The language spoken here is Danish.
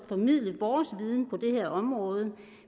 formidle vores viden på det her område